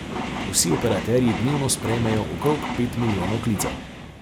Vsi operaterji dnevno sprejmejo okrog pet milijonov klicev.